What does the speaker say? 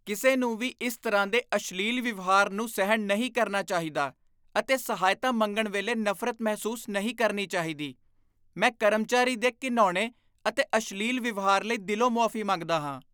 ਕਿਸੇ ਨੂੰ ਵੀ ਇਸ ਤਰ੍ਹਾਂ ਦੇ ਅਸ਼ਲੀਲ ਵਿਵਹਾਰ ਨੂੰ ਸਹਿਣ ਨਹੀਂ ਕਰਨਾ ਚਾਹੀਦਾ ਅਤੇ ਸਹਾਇਤਾ ਮੰਗਣ ਵੇਲੇ ਨਫ਼ਰਤ ਮਹਿਸੂਸ ਨਹੀਂ ਕਰਨੀ ਚਾਹੀਦੀ। ਮੈਂ ਕਰਮਚਾਰੀ ਦੇ ਘਿਣਾਉਣੇ ਅਤੇ ਅਸ਼ਲੀਲ ਵਿਵਹਾਰ ਲਈ ਦਿਲੋਂ ਮੁਆਫ਼ੀ ਮੰਗਦਾ ਹਾਂ।